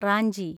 Ranchi